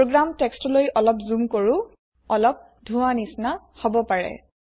program টেক্সটলৈ অলপ zoom কৰো অলপ ধোৱা নিচিনা হব পাৰে